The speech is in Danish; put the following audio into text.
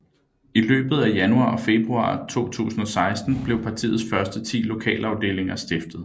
I løbet af januar og februar 2016 blev partiets første 10 lokalafdelinger stiftet